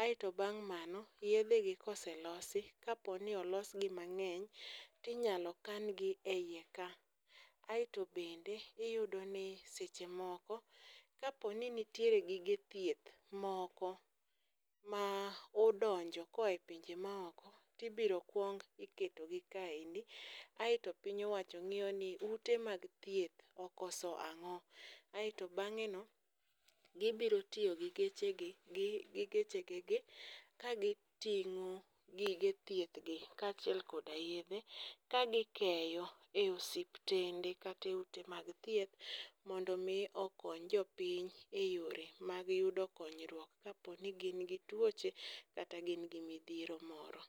aeto bang' mano, yedhe gi ka oselosi, kaponi olosgi mang'eny tinyalo kan gi e iye ka, aeto bende iyudni seche moko kaponi nitiere gige thieth moko ma odonjo koa e pinje maoko, tibiro kwong iketogi kaendi aeto piny owacho ng'iyo ni ute mag thieth okoso ang'o, aeto bang'eno gibiro tiyo gi gechegi, gi gechegegi ka giting'o gige thiethgi kaachiel koda yedhe ka gikeyo e osuptende kata e ute mag thieth mondo omi okony jopiny e yore mag yudo konyruok kapo ni gin gi tuoche kata gin gi midhiero moro.